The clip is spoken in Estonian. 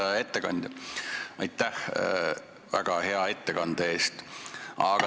Hea ettekandja, aitäh väga hea ettekande eest!